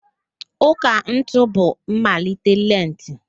Ụ́kà ntụ bụ mmalite lenti